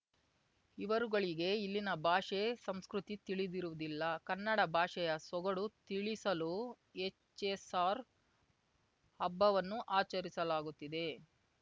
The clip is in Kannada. ಇವರುಗಳಿಗೆ ಇಲ್ಲಿನ ಭಾಷೆ ಸಂಸ್ಕೃತಿ ತಿಳಿದಿರುವುದಿಲ್ಲ ಕನ್ನಡ ಭಾಷೆಯ ಸೊಗಡು ತಿಳಿಸಲು ಹೆಚ್‌ಎಸ್‌ಆರ್‌ ಹಬ್ಬವನ್ನು ಆಚರಿಸಲಾಗುತ್ತಿದೆ